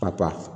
Pa